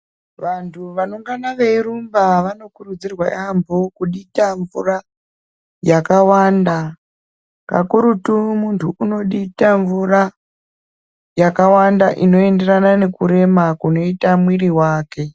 Vanthu vanongana veirumba vanokurudzirwa yaampho kudita mvura, yakawanda, kakurutu munthu unodita mvura, yakawanda inoenderana nekurema kunoita mwiri wake.